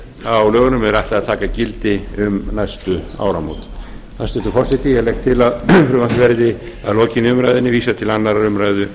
á lögunum er ætlað að taka gildi um næstu áramót hæstvirtur forseti ég legg til að frumvarpinu verði að lokinni umræðunni vísað til annarrar umræðu